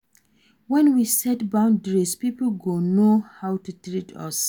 When we set boundaries pipo go know how to treat us